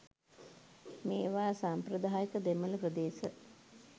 මේවා සාම්ප්‍රදායික දෙමළ ප්‍රදේශ